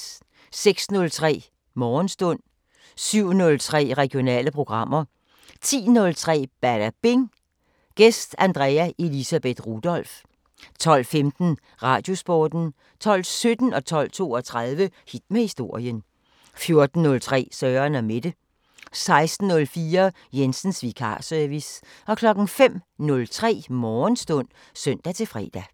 06:03: Morgenstund 07:03: Regionale programmer 10:03: Badabing: Gæst Andrea Elisabeth Rudolph 12:15: Radiosporten 12:17: Hit med historien 12:32: Hit med historien 14:03: Søren & Mette 16:04: Jensens vikarservice 05:03: Morgenstund (søn-fre)